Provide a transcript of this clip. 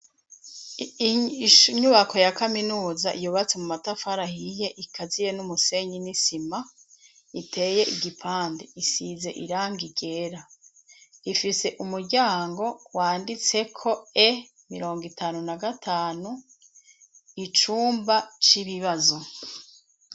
Inyubako ya Kaminuza yubatse mu matafari ahiye ikaziye numusenyi nisima iteye igipande isize irangi ryera ifise umuryango wanditseko E55 icumba cibibazo .